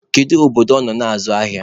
Kedu obodo ọ nọ azụ ahịa?